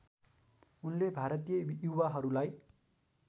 उनले भारतीय युवाहरूलाई